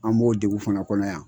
An b'o degun fana kɔnɔ yan.